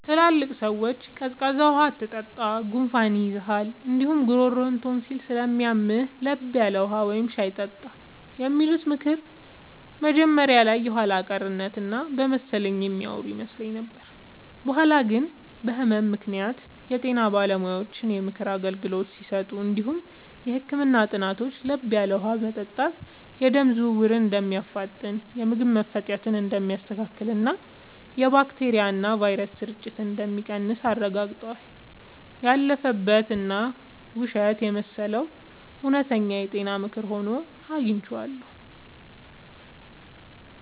ትላልቅ ሰዎች “ቀዝቃዛ ውሃ አትጠጣ፣ ጉንፋን ይይዝሃል እንዲሁም ጉሮሮህን ቶንሲል ስለሚያምህ፤ ለብ ያለ ውሃ ወይም ሻይ ጠጣ” የሚሉት ምክር መጀመሪያ ላይ የኋላ ቀርነት እና በመሰለኝ የሚያወሩ ይመስል ነበር። በኋላ ግን በህመም ምክንያት የጤና ባለሙያዎች የምክር አገልግሎት ሲሰጡ እንዲሁም የህክምና ጥናቶች ለብ ያለ ውሃ መጠጣት የደም ዝውውርን እንደሚያፋጥን፣ የምግብ መፈጨትን እንደሚያስተካክልና የባክቴሪያና ቫይረስ ስርጭትን እንደሚቀንስ አረጋግጠዋል። ያለፈበት እና ውሸት የመሰለው እውነተኛ የጤና ምክር ሆኖ አግኝቼዋለሁ።